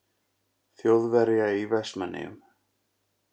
Þjóðverja í Vestmannaeyjum.